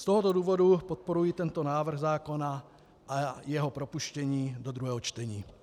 Z tohoto důvodu podporuji tento návrh zákona a jeho propuštění do druhého čtení.